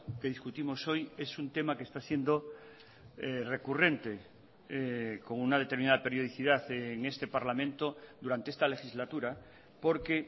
que discutimos hoy es un tema que está siendo recurrente con una determinada periodicidad en este parlamento durante esta legislatura porque